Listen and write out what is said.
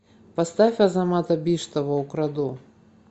поставь азамата биштова украду